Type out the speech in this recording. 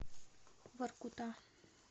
воркута